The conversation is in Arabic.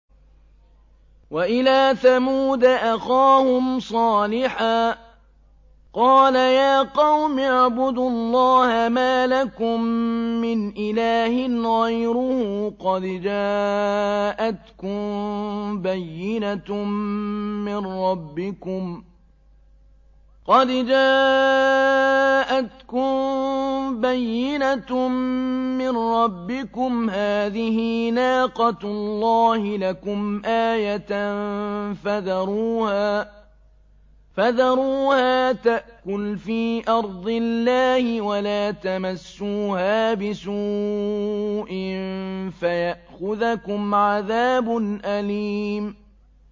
وَإِلَىٰ ثَمُودَ أَخَاهُمْ صَالِحًا ۗ قَالَ يَا قَوْمِ اعْبُدُوا اللَّهَ مَا لَكُم مِّنْ إِلَٰهٍ غَيْرُهُ ۖ قَدْ جَاءَتْكُم بَيِّنَةٌ مِّن رَّبِّكُمْ ۖ هَٰذِهِ نَاقَةُ اللَّهِ لَكُمْ آيَةً ۖ فَذَرُوهَا تَأْكُلْ فِي أَرْضِ اللَّهِ ۖ وَلَا تَمَسُّوهَا بِسُوءٍ فَيَأْخُذَكُمْ عَذَابٌ أَلِيمٌ